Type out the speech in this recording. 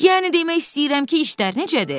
Yəni demək istəyirəm ki, işlər necədir?